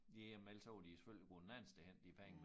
Ja men ellers så var de jo selvfølgelig gået en anden sted hen de penge